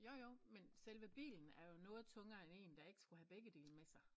Jo jo men selve bilen er jo noget tungere end en der ikke skulle have begge dele med sig